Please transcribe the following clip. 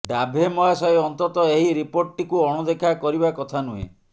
ଡାଭେ ମହାଶୟ ଅନ୍ତତଃ ଏହି ରିପୋର୍ଟଟିକୁ ଅଣଦେଖା କରିବା କଥା ନୁହେଁ